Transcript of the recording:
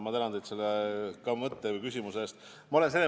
Ma tänan teid selle mõtte või küsimuse eest!